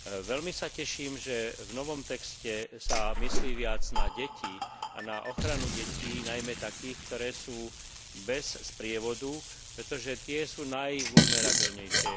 Veľmi sa teším, že v novom texte sa myslí viac na deti, na ochranu detí, najmä takých, ktoré sú bez sprievodu, pretože tie sú najvulnerabilnejšie.